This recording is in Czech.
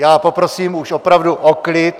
Já poprosím už opravdu o klid.